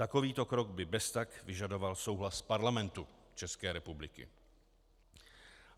Takovýto krok by beztak vyžadoval souhlas Parlamentu České republiky.